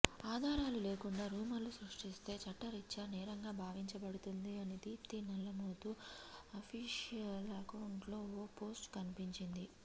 ఆధారాలు లేకుండా రూమర్లు సృష్టిస్తే చట్టరీత్యా నేరంగా భావించబడుతుంది అని దీప్తి నల్లమోతు అఫీషియల్ అకౌంట్లో ఓ పోస్టు కనిపించింది